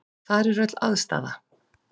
Þar er öll aðstaða.